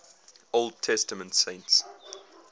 old testament saints